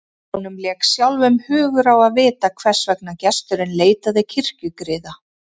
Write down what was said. Honum lék sjálfum hugur á að vita hvers vegna gesturinn leitaði kirkjugriða.